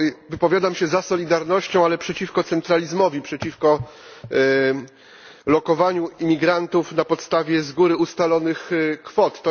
Wypowiadam się za solidarnością, ale przeciwko centralizmowi, przeciwko lokowaniu imigrantów na podstawie z góry ustalonych kwot.